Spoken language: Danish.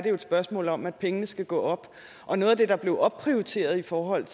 et spørgsmål om at pengene skulle gå op og noget af det der blev opprioriteret i forhold